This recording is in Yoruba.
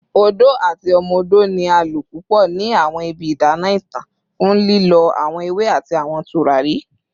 Odo ati Omo Odo ni a lo pupọ ni awọn ibi idana itan fun lilọ awọn ewe ati awọn turari